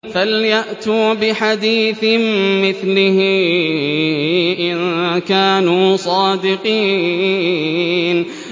فَلْيَأْتُوا بِحَدِيثٍ مِّثْلِهِ إِن كَانُوا صَادِقِينَ